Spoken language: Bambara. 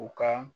U ka